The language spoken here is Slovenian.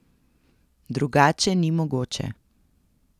Drugače ni mogoče.